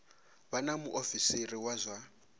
vha na muofisiri wa zwa